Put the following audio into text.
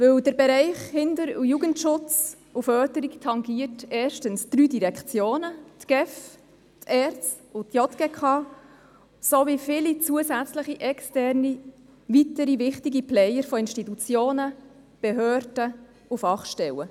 Denn der Bereich Kinder- und Jugendschutz und Förderung tangiert erstens drei Direktionen – die GEF, die ERZ und die JGK – sowie viele weitere wichtige externe Player wie Institutionen, Behörden und Fachstellen.